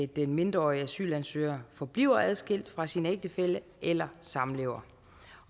den mindreårige asylansøger forbliver adskilt fra sin ægtefælle eller samlever